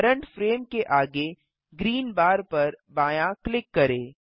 current frame के आगे green bar पर बायाँ क्लिक करें